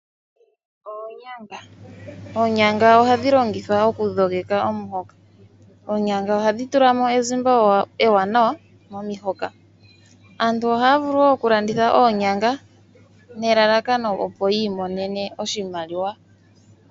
Oonyanga ohadhi longithwa okudhogeka omuhoka . Ohadhi tulamo ezimba ewanawa momihoka . Aantu ohaya vulu wo okulanditha oonyanga nelalakano opo yiimonenemo oshimaliwa.